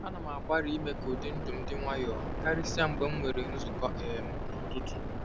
Ana m agbalị ime ka ụdị ndụ m dị nwayọọ, karịsịa mgbe ị nwere nzukọ um n'ụtụtụ.